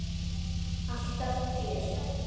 Alltaf fjör.